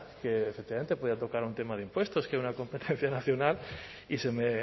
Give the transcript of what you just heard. que efectivamente podía tocar un tema de impuestos una competencia nacional y se me